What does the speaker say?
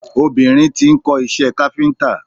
Obìnrin tí ń kó iṣẹ́ káfíntà.